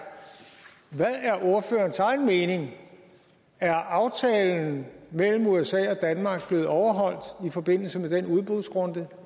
ordførerens egen mening er aftalen mellem usa og danmark blevet overholdt i forbindelse med den udbudsrunde